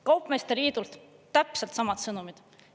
Kaupmeeste liidult täpselt samad sõnumid.